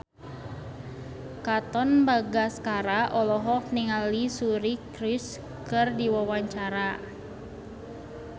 Katon Bagaskara olohok ningali Suri Cruise keur diwawancara